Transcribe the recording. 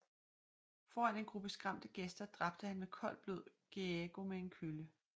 Foran en gruppe skræmte gæster dræbte han med koldt blod Gegeo med en kølle